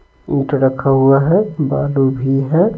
ईंट रखा हुआ है बालू भी है।